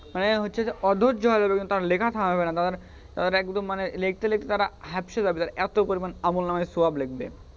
হ্যাঁ হচ্ছে যে অধৈর্জ্য হয়ে যাবে কিন্তু হচ্ছে যে লেখা থামাবে না তাদের একদম মানে লেখতে লেখতে তারা হাপসে যাবে তারা এত পরিমান আমুলনাম সোয়াব লিখবে,